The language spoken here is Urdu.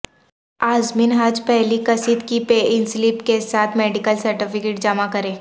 عازمین حج پہلی قسط کی پے ان سلپ کے ساتھ میڈیکل سرٹیفکٹ جمع کریں